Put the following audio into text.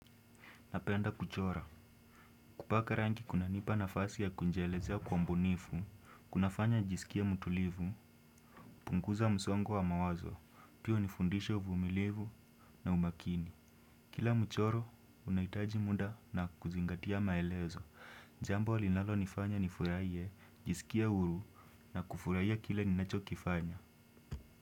Napenda kuchora. Kupaka rangi kunanipa nafasi ya kunjielezea kwa umbunifu, kunafanya njisikie mutulivu, punguza msongo wa wa mawazo, pia hunifundishe uvumilivu na umakini. Kila mchoro, unaitaji muda na kuzingatia maelezo. Jambo linalonifanya nifuraie, njisikie huru na kufurahia kile ninachokifanya.